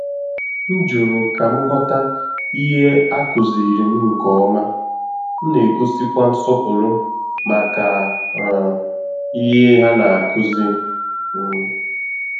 M jụrụ ka m ghọta ìhè a kụziri m nke ọma, m na-egosikwa nsọpụrụ màkà um ìhè hà na nkụzi. um